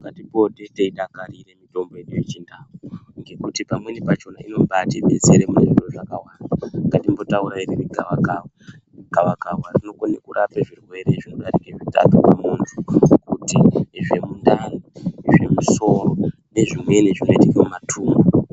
Ngatipote teidakarira mitombo yedu yechindau ngekuti pamweni pachona inombaati detsera munezviro zvakawanda. Ngatimbotaurai ngemugavakava, gavakava rinokone kurapa zvirwere zvinodarike zvitatu pamuntu, kuti zvemundani, zvemusoro, nezvimweni zvinoitika mumatumbu.